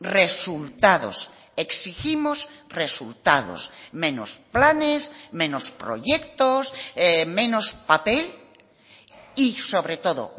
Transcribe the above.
resultados exigimos resultados menos planes menos proyectos menos papel y sobre todo